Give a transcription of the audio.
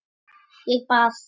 Ég bað